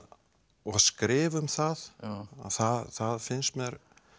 skrifa um það það það finnst mér